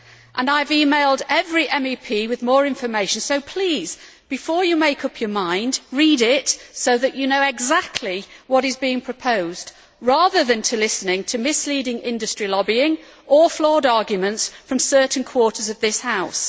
I have emailed every MEP with more information so please, before you make up your minds, read it so that you know exactly what is being proposed, rather than listening to misleading industrial lobbying or flawed arguments from certain quarters of this House.